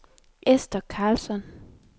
Esther Carlsson